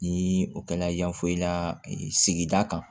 Ni o kɛla yanfoyila sigida kan